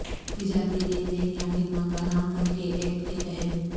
تجارتی لین دین یا خدمات فراہم کر کے ایکٹ کے تحت